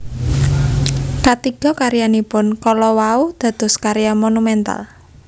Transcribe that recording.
Katiga karyanipun kala wau dados karya monumental